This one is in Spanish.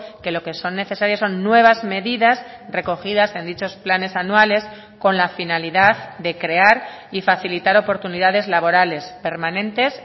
que lo que son necesarias son nuevas medidas recogidas en dichos planes anuales con la finalidad de crear y facilitar oportunidades laborales permanentes